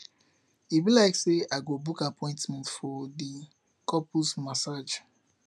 e be like sey i go book appointment for di couples massage